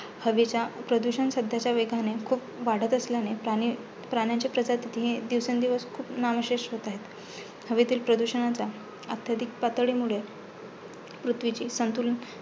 हवेच्या प्रदुषण सध्याच्या वेगाने खूप वाढत असल्याने प्राणी प्राण्याचे प्रजातीही दिवसेंदिवस खूप नामशेष होत आहेत. हवेतील प्रदूषणाचा अत्याधिक पातळीमुळे पृथ्वीचे संतुलन